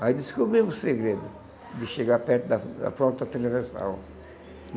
Aí descobri o segredo de chegar perto da da própria televisão.